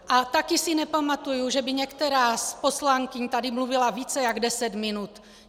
A taky si nepamatuju, že by některá z poslankyň tady mluvila více než deset minut.